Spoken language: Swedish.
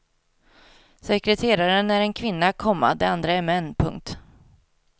Sekreteraren är en kvinna, komma de andra är män. punkt